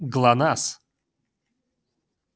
глонассс